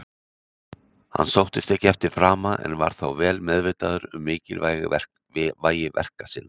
Hann sóttist ekki eftir frama, en var þó vel meðvitaður um mikilvægi verka sinn.